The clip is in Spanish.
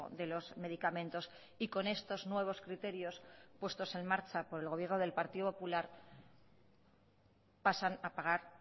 de los medicamentos y con estos nuevos criterios puestos en marcha por el gobierno del partido popular pasan a pagar